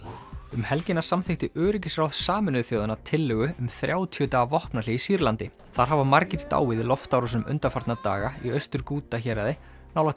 um helgina samþykkti öryggisráð Sameinuðu þjóðanna tillögu um þrjátíu daga vopnahlé í Sýrlandi þar hafa margir dáið í loftárásum undanfarna daga í Austur Ghouta héraði nálægt